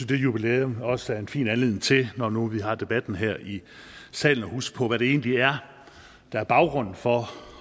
det jubilæum også er en fin anledning til når nu vi har debatten her i salen at huske på hvad det egentlig er der er baggrunden for